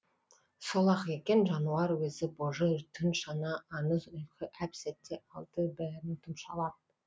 сол ақ екен жануар өзі божы түн шана аңыз ұйқы әп сәтте алды бәрін тұмшалап